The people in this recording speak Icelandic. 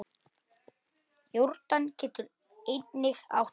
Jórdan getur einnig átt við